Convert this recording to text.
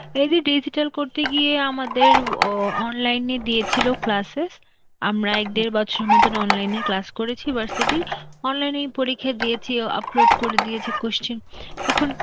এই যে digital করতে গিয়ে আমাদের অ ও online এ দিয়েছিল classes, আমরা এক দেড় বছরের মতন online এ class করেছি . online এই পরীক্ষা দিয়েছি, ও upload করে দিয়েছি question, তখন~